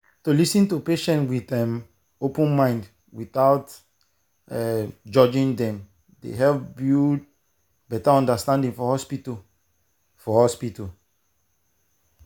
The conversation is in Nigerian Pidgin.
to understand wetin patient believe i swear e fit help make communication and trust strong well well.